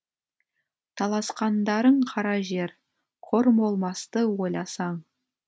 таласқандарың кара жер қор болмасты ойласаң